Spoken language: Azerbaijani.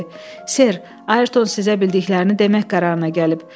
Ser, Ayerton sizə bildiklərini demək qərarına gəlib.